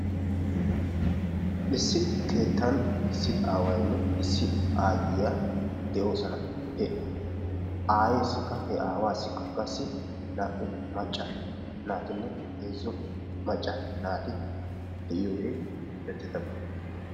Issi keettan issi aawayinne issi aayyiya de'oosna. He aayyessikka he aawaassikka qassi naa''u macca naatinne heezzu macca naati de'iyoogee erettidaaba.